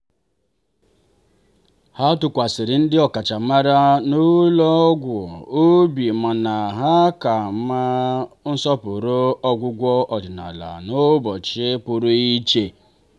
ha tụkwasịrị ndị ọkachamara n'ụlọ ọgwụ obi mana ha ka na-asọpụrụ ọgwụgwọ ọdịnala n'ụbọchị pụrụ iche.